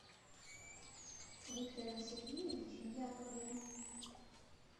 виктором сергеевичем яковлевым